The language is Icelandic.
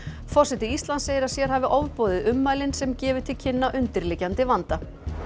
forseti Íslands segir að sér hafi ofboðið ummælin sem gefi til kynna undirliggjandi vanda